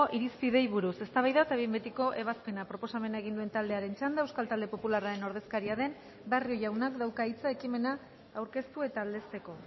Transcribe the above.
irizpideei buruz eztabaida eta behin betiko ebazpena proposamena egin duen taldearen txanda euskal talde popularraren ordezkaria den barrio jaunak dauka hitza ekimena aurkeztu eta aldezteko